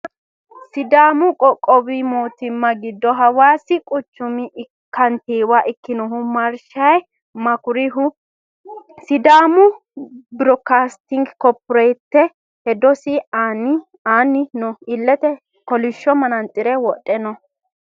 sidaamu qoqqowu mootimma giddo hawaasi quchumio kantiiwa ikinohu maarshaye makurihu sidaamu biroodikastinge korporeeshiinete hedosi aanni no illete kolishsho manaantsire wodhe no